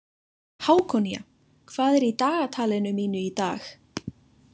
Hákonía, hvað er í dagatalinu mínu í dag?